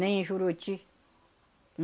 Nem em Juruti.